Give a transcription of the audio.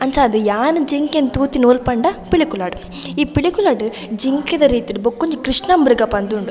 ಅಂಚಾದ್ ಯಾನ್ ಜಿಂಕೆನ್ ತೂತಿನಿ ಓಲ್ ಪಂಡ ಪಿಲಿಕುಲಡ್ ಈ ಪಿಲಿಕುಲಡ್ ಜಿಂಕೆದ ರೀತಿಡ್ ಬಕೊಂಜಿ ಕ್ರಷ್ಣ ಮ್ರಗ ಉಂಡು .